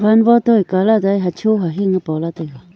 wan wo to ye colat ta ye hacho hahing ye pola taiga.